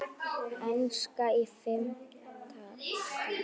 Enska í fimmta bé.